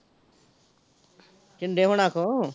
ਸ਼ਿੰਦੇ ਹੁਣਾ ਕੋਲੋਂ